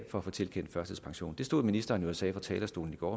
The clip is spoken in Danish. for at få tilkendt førtidspension det stod ministeren jo og sagde fra talerstolen i går